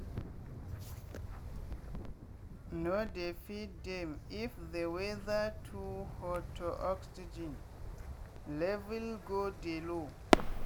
no dey feed dem if the weather too hotoxygen level go de low.